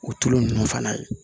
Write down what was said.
O tulu ninnu fana